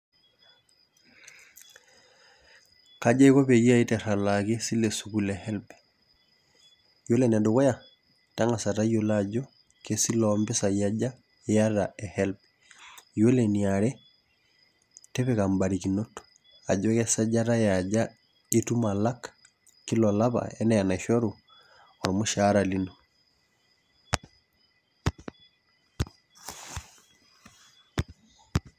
Kaja aiko pangasa aiteru alakiesile esukul e HELB ,ore enedukuya na kangasa ayiolo ajo kesile ompisaibaja iata e HELB ore eniare tipika mbarikinot ajo kesajata eaja itum alak kila olapa ana enaishoru ormushara lino.